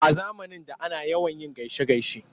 A zamanin da ana yawan gaishe-gaishe.